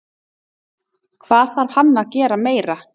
Hvað þarf hann að gera meira?